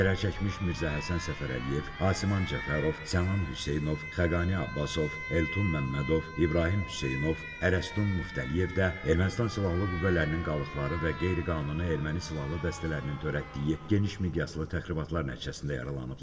Zərər çəkmiş Mirzəhəsən Səfərəliyev, Asiman Cəfərov, Sənan Hüseynov, Xəqani Abbasov, Elton Məmmədov, İbrahim Hüseynov, Ərəstun Muftəliyev də Ermənistan silahlı qüvvələrinin qalıqları və qeyri-qanuni erməni silahlı dəstələrinin törətdiyi geniş miqyaslı təxribatlar nəticəsində yaralanıblar.